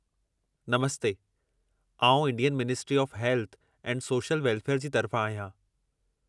नमस्ते! आउं Indian ministry of health and social welfare जी तरफ़ां आहियां।